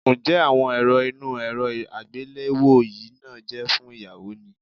Ǹjẹ́ àwọn èrọ inú èrọ àgbéléwò yìí náà jẹ́ fún ìyáwó ni?